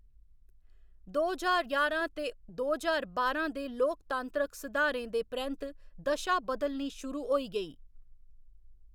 दो ज्हार ञारां ते दो ज्हार बारां दे लोकतांत्रक सुधारें दे परैंत्त दशा बदलनी शुरू होई गेई।